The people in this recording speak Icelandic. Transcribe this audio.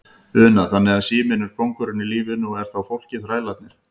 Una: Þannig að síminn er kóngurinn í lífinu og er þá fólkið þrælarnir?